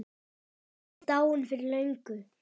Hann er dáinn fyrir löngu.